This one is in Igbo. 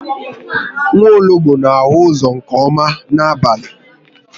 Nwologbo n'ahụ uzọ nke ọma n'abalị